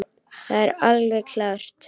Það er alveg klárt.